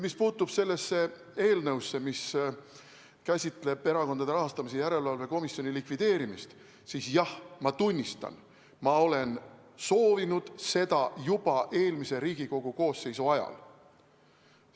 Mis puutub sellesse eelnõusse, mis käsitleb Erakondade Rahastamise Järelevalve Komisjoni likvideerimist, siis jah, ma tunnistan, et ma soovisin seda juba eelmise Riigikogu koosseisu ajal.